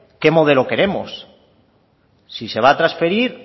qué modelo queremos si se va a transferir